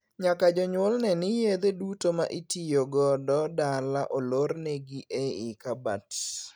Nyaka jonyuol nee ni yedhe duto ma itiyo godo dala olornegi ei kabat.